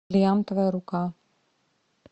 бриллиантовая рука